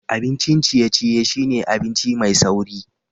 Abincin ciye-ciye shine abinci mai sauri